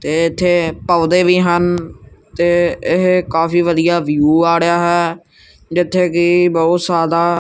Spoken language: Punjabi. ਤੇ ਏੱਥੇ ਏਹ ਪੌਧੇ ਵੀ ਹਨ ਤੇ ਏਹ ਕਾਫੀ ਵਧੀਆ ਵਿਊ ਆ ੜੇਯਾ ਹੈ ਜਿੱਥੇ ਕੀ ਬਹੁਤ ਸਾਦਾ--